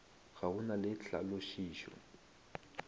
ga go na le tlhalošišo